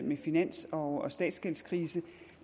med finans og statsgældskrisen